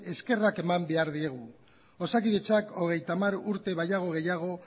eskerrak eman behar diegu osakidetzak hogeita hamar urte baino gehiago